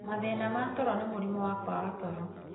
Mathĩna ma toro ta mũrimũ wa kwaga toro,